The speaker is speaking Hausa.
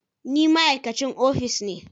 Ni ma'aikacin ofis ne